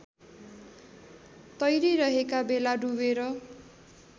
तैरिरहेका बेला डुबेर